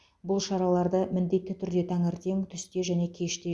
бұл шараларды міндетті түрде таңертең түсте және кеште